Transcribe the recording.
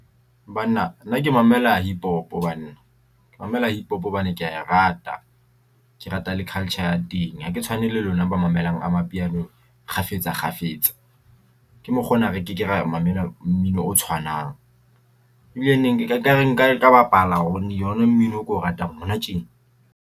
Banna nna ke mamela hip hop banna ke mamela hip hop hobane ke ya e rata. Ke rata le culture ya teng hake tshwane le lona ba mamelang amapiano kgafetsa kgafetsa ke mokgwa ona. Re ke ke ra mamela mmino o tshwanang ebile neng e kare nka ka bapala ona mmino e ko ratang hona tjena.